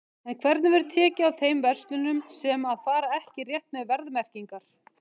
En hvernig verður tekið á þeim verslunum sem að fara ekki rétt með verðmerkingar?